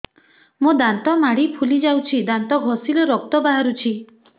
ମୋ ଦାନ୍ତ ମାଢି ଫୁଲି ଯାଉଛି ଦାନ୍ତ ଘଷିଲେ ରକ୍ତ ବାହାରୁଛି